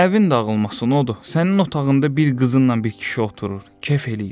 Əvin dağılmasın o dur, sənin otağında bir qızınla bir kişi oturur, kef eləyir.